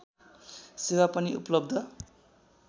सेवा पनि उपलब्ध